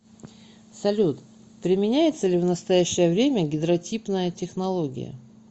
салют применяется ли в настоящее время гидротипная технология